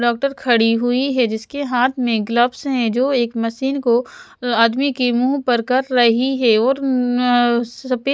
doctor खड़ी हुई है जिसके हाथ में ग्लव्स हैं जो एक मशीन को आदमी के मुँह पर कर रही है और उम्म्म सफ़ेद --